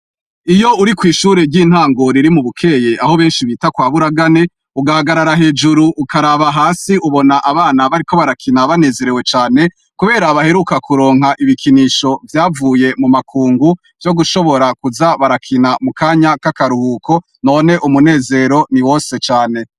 Iyo uri ku ishure ry'intango riri mu bukeye aho benshi bita kwa buragane .Ugahagarara hejuru ukaraba hasi ubona abana bariko barakina banezerewe cane kubera abaheruka kuronka ibikinisho vyavuye mu makungu byo gushobora kuza barakina mu kanya k'akaruhuko none umunezero ni wose cane.